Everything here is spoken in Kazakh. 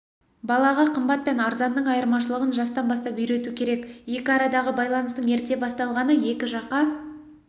балаға қымбат пен арзанның айырмашылығын жастан бастап үйрету керек екі арадағы байланыстың ерте басталғаны екі жаққа